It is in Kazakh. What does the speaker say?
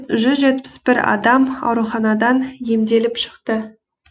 жүз жетпіс бір адам ауруханадан емделіп шықты